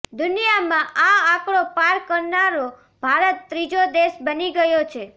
દુનિયામાં આ આંકડો પાર કરનારો ભારત ત્રીજો દેશ બની ગયો છે